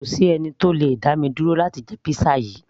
kò sí ẹni tó le dá mi dúró láti jẹ pizza yìí